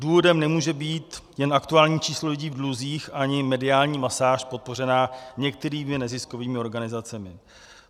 Důvodem nemůže být jen aktuální číslo lidí v dluzích ani mediální masáž podpořená některými neziskovými organizacemi.